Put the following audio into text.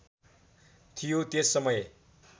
थियो त्यस समय